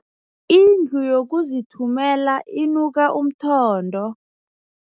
Indlu yokuzithumela inuka umthondo.